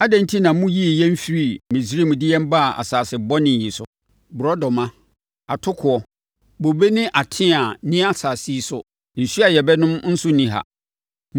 Adɛn enti na moyii yɛn firii Misraim de yɛn baa asase bɔne yi so? Borɔdɔma, atokoɔ, bobe ne ateaa nni asase yi so. Nsuo a yɛbɛnom nso nni ha.”